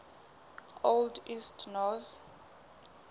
old east norse